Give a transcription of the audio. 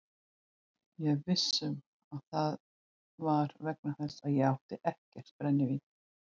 Ég er viss um að það var vegna þess að ég átti ekkert brennivín.